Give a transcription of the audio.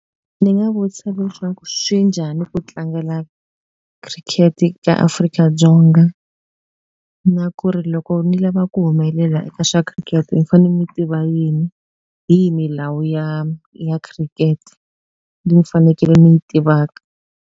Ni nga vutisa leswaku swi njhani ku tlangela cricket ka Afrika-Dzonga na ku ri loko ni lava ku humelela eka swa khiriketi ni fane ni tiva yini hi yi milawu ya ya khirikete ni fanekele ni yi tivaka.